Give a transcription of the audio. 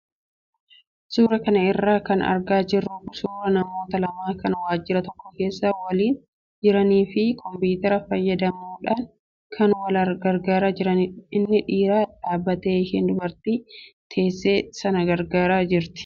Suuraa kana irraa kan argaa jirru suuraa namoota lama kan waajjira tokko keessa waliin jiranii fi kompiitara fayyadamuudhaan kan wal gargaaraa jiranidha. Inni dhiiraa dhaabbatee ishee dubartii teesse sana gargaaraa jira.